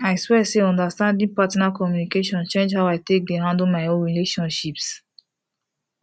i swear say understanding partner communication change how i take dey handle my own relationships